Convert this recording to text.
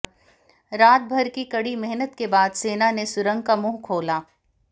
रात भर की कड़ी मेहनत के बाद सेना ने सुरंग का मुंह खोला